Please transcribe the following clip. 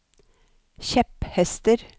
kjepphester